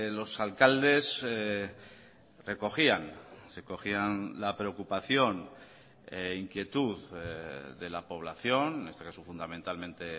los alcaldes recogían se cogían la preocupación inquietud de la población en este caso fundamentalmente